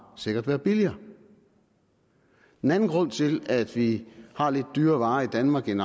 sikkert være billigere en anden grund til at vi har lidt dyrere varer i danmark end